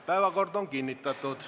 Päevakord on kinnitatud.